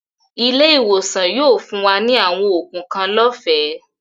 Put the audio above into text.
Ilẹ̀-iwosan yóò fún wa ni awọn oogun kan lọ́fẹ̀